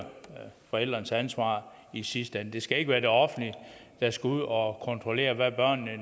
forældrenes ansvar i sidste ende det skal ikke være det offentlige der skal ud og kontrollere hvad børnene